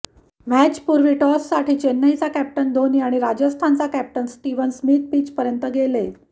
मॅचपूर्वी टॉससाठी चेन्नईचा कॅप्टन धोनी आणि राजस्थानचा कॅप्टन स्टीव्हन स्मिथ पिचपर्यंत गेले